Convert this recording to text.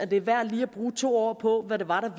det er værd lige at bruge to ord på hvad det var der